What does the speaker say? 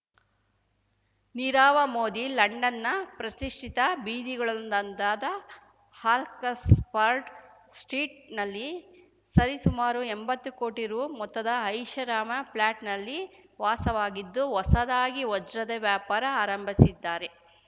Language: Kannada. ನೀರವ ಮೋದಿ ಲಂಡನ್‌ನ ಪ್ರತಿಷ್ಠಿತ ಬೀದಿಗಳಲ್ಲೊಂದಾದ ಹಾಕಸ್ ಪರ್ಟ್ ಸ್ಟ್ರೀಟ್‌ನಲ್ಲಿ ಸರಿಸುಮಾರು ಎಂಬತ್ತು ಕೋಟಿ ರೂ ಮೊತ್ತದ ಐಷಾರಾಮ ಫ್ಲಾಟ್‌ನಲ್ಲಿ ವಾಸವಾಗಿದ್ದು ಹೊಸದಾಗಿ ವಜ್ರದ ವ್ಯಾಪಾರ ಆರಂಭಿಸಿದ್ದಾರೆ